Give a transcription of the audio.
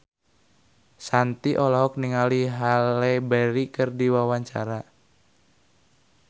Shanti olohok ningali Halle Berry keur diwawancara